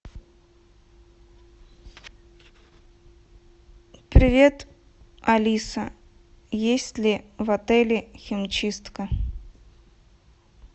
привет алиса есть ли в отеле химчистка